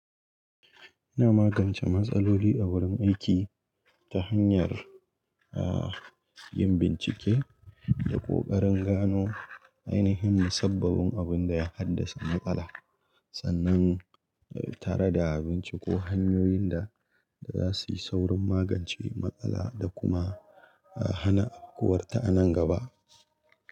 Ina magance matsaloli a wurin aiki ta hanyar, ah, yin bincike da ƙoƙarin gano ainihin musabbabin abin da ya haddasa matsala sannan tare da binciko hanyoyin da za su yi saurin magance matsala da kuma, ah, hana afkuwarta a nan gaba.